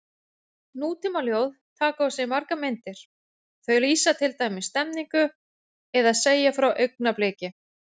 Nútímaljóð taka á sig margar myndir, þau lýsa til dæmis stemningu eða segja frá augnabliki.